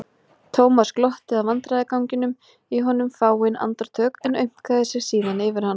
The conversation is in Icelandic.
Thomas glotti að vandræðaganginum í honum fáein andartök en aumkaði sig síðan yfir hann.